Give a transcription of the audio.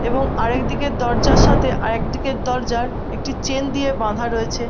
এবং আরেকদিকে দরজার সঙ্গে আরেকদিকের দরজা একটি চেন দিয়ে বাধা রয়েছে ।